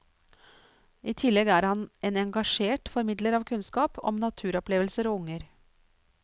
I tillegg er han en engasjert formidler av kunnskap om naturopplevelser og unger.